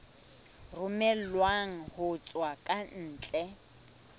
romellwang ho tswa ka ntle